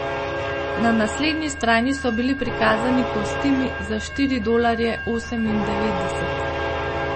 Na naslednji strani so bili prikazani kostimi za štiri dolarje osemindevetdeset.